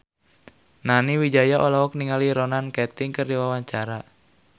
Nani Wijaya olohok ningali Ronan Keating keur diwawancara